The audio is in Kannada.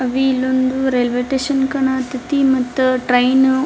ಅವಿ ಇಲ್ಲೊಂದು ರೈಲ್ವೆ ಸ್ಟೇಷನ್ ಕಾಣತತ್ ತಿ ಮತ್ತ್ ಟ್ರೈನ್ --